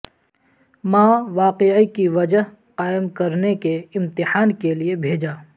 ماں واقعے کی وجہ قائم کرنے کے امتحان کے لئے بھیجا